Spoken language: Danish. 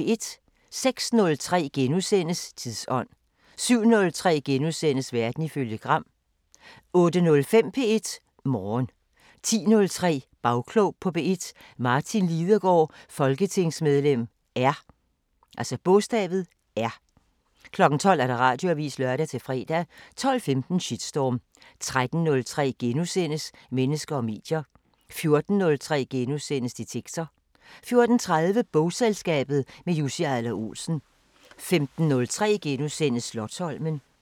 06:03: Tidsånd * 07:03: Verden ifølge Gram * 08:05: P1 Morgen 10:03: Bagklog på P1: Martin Lidegaard, folketingsmedlem R 12:00: Radioavisen (lør-fre) 12:15: Shitstorm 13:03: Mennesker og medier * 14:03: Detektor * 14:30: Bogselskabet – med Jussi Adler-Olsen 15:03: Slotsholmen *